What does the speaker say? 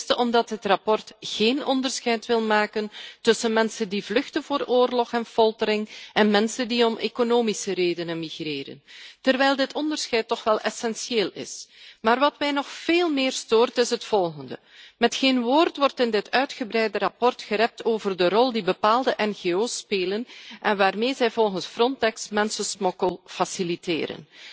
Ten eerste omdat het verslag geen onderscheid wil maken tussen mensen die vluchten voor oorlog en foltering en mensen die om economische redenen emigreren, terwijl dit onderscheid toch wel essentieel is. Maar wat mij nog veel meer stoort, is het volgende met geen woord wordt in dit uitgebreide verslag gerept over de rol die bepaalde NGO's spelen en waarmee zij volgens Frontex mensensmokkel faciliteren.